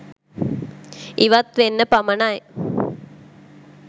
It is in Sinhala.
ඉවත් වෙන්න පමණයි